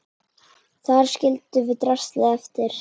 Þar skildum við draslið eftir.